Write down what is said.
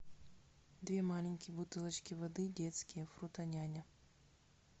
две маленькие бутылочки воды детские фрутоняня